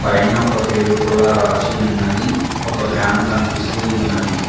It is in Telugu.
పైన ఒక పేరు కూడా రాసి ఉన్నది ఒక ఫ్యాన్ కనిపిస్తూ ఉన్నది.